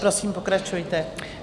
Prosím, pokračujte.